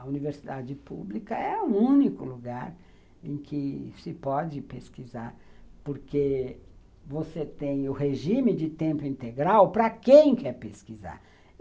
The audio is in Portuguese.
A Universidade Pública é o único lugar em que se pode pesquisar, porque você tem o regime de tempo integral para quem quer pesquisar.